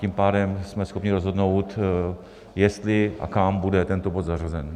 Tím pádem jsme schopni rozhodnout, jestli a kam bude tento bod zařazen.